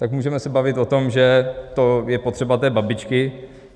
Tak se můžeme bavit o tom, že to je potřeba té babičky.